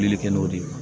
Weele kɛ n'o de ye